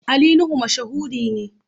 Ali Nuhu mashahuri ne.